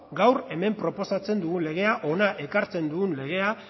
gaur hemen proposatzen dugun legea hona ekartzen dugun legea